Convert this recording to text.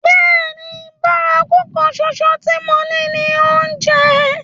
Bẹ́ẹ̀ni, bárakú kan ṣoṣo tí mo ní ni oúnjẹ.